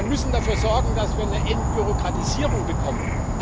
Wir müssen dafür sorgen, dass wir eine Entbürokratisierung bekommen.